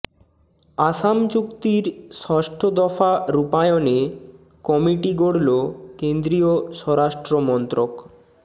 আসাম চুক্তির ষষ্ঠ দফা রূপায়নে কমিটি গড়ল কেন্দ্রীয় স্বরাষ্ট্রমন্ত্রক